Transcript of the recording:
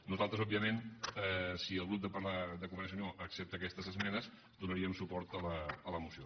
nosaltres òbviament si el grup de convergència i unió accepta aquestes esmenes donaríem suport a la moció